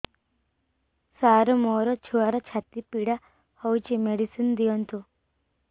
ସାର ମୋର ଛୁଆର ଛାତି ପୀଡା ହଉଚି ମେଡିସିନ ଦିଅନ୍ତୁ